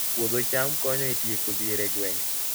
Puodho cham konyo e tieko dhier e gwenge